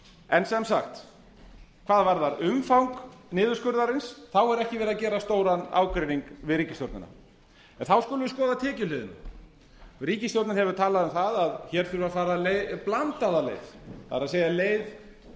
en sem sagt hvað varðar umfang niðurskurðarins þá er ekki verið að gera stóran ágreining við ríkisstjórnina þá skulum við skoða tekjuhliðina ríkisstjórnin hefur talað um það að hér þurfi að fara blandaða leið það er leið